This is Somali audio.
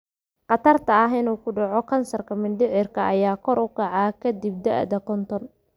Khatarta ah inuu ku dhaco kansarka mindhicirka ayaa kor u kaca ka dib da'da konton.